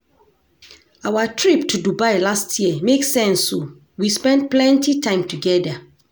Our trip to Dubai last year make sense o, we spend plenty time togeda.